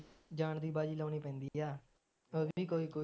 ਜਾਣ ਦੀ ਬਾਜੀ ਲਾਉਣੀ ਪੈਂਦੀ ਆ ਹੋਰ ਨੀ ਕੋਈ ਕੋਈ